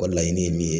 O ka laɲini ye min ye